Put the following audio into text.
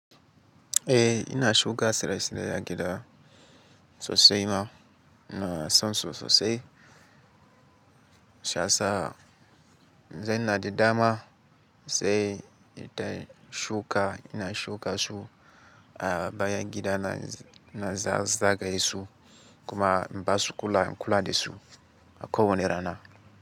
Eh ina shuka tsira tsirrai a gida sosai ma ina sansa sosai shiyasa. Zen na dadama sai ita shuka ina shuka su a bayan gida na na za zage su kuma in basu kula in kula da su a ko wanne rana.